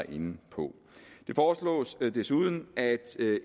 inde på det foreslås desuden at